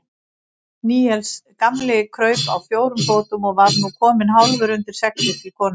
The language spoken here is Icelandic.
Níels gamli kraup á fjórum fótum og var nú kominn hálfur undir seglið til konunnar.